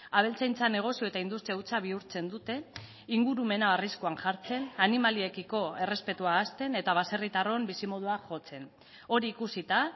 abeltzaintza negozio eta industria hutsa bihurtzen dute ingurumena arriskuan jartzen animaliekiko errespetua ahazten eta baserritarron bizimodua jotzen hori ikusita